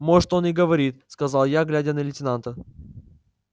может он и говорит сказал я глядя на лейтенанта